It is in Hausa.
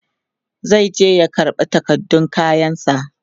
zai je ya karɓa takardun kayan sa